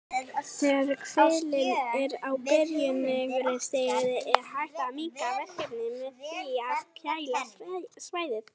Þegar kvillinn er á byrjunarstigi er hægt að minnka verkinn með því að kæla svæðið.